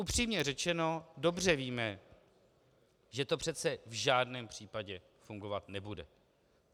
Upřímně řečeno dobře víme, že to přece v žádném případě fungovat nebude.